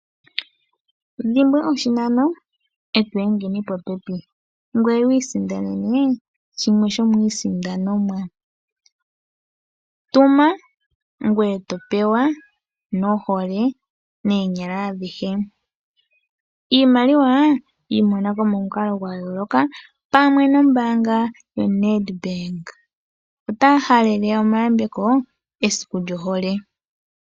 Dhimbwa oshinano e to hedha popepi. Ngweye wiisindanene shimwe dhomiisindanomwa. Tuma ngweye to pewa nohole, noonyala adhihe. Iimaliwa yi mona ko momukalo gwayooloka pamwe nombaanga yaNEDBANK. Otaya halele omayambeko esiku lyohole.